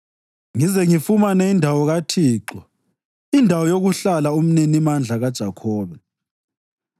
ngize ngifumane indawo kaThixo, indawo yokuhlala uMninimandla kaJakhobe.”